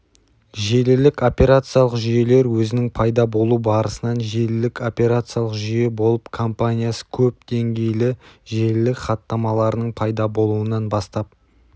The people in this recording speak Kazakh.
желілік операциялық жүйелер өзінің пайда болу барысынан желілік операциялық жүйе болып компаниясы көп деңгейлі желілік хаттамаларының пайда болуынан бастап